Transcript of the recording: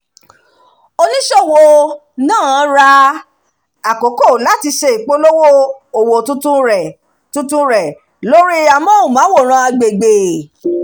oníṣòwò náà ra àkókò láti ṣe ìpolówó òwò tuntun rẹ̀ tuntun rẹ̀ lórí amóhùnmáwòrán agbègbè